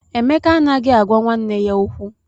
Emeka anaghị agwa nwanne ya okwu.